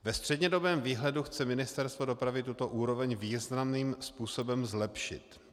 Ve střednědobém výhledu chce Ministerstvo dopravy tuto úroveň významným způsobem zlepšit.